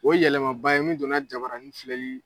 O ye yɛlɛma ba ye min don na jabaranin filɛli